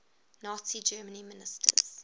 nazi germany ministers